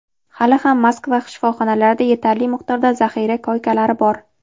hali ham Moskva shifoxonalarida yetarli miqdorda zaxira koykalari bor.